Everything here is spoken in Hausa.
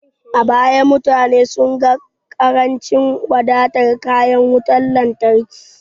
A baya, mutane sun ga ƙarancin wadatar kayan wutar lantarki.